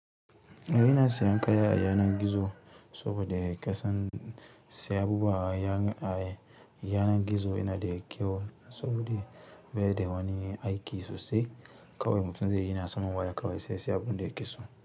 Yana sayan kaya a yanar gizo saboda ƙasan sai abubuwa a yanar gizo yana da kyau saboda bai da wani aiki sosai. Kawai mutum zai yi yana samun waya kawai sai sai abun da ya ki so.